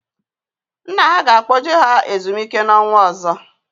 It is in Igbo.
Nna ha ga-akpoje ha ezumike n'ọnwa ọzọ